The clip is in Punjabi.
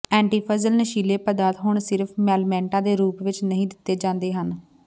ਐਂਟੀਫੰਜਲ ਨਸ਼ੀਲੇ ਪਦਾਰਥ ਹੁਣ ਸਿਰਫ ਮਲਮੈਂਟਾਂ ਦੇ ਰੂਪ ਵਿਚ ਨਹੀਂ ਦਿੱਤੇ ਜਾਂਦੇ ਹਨ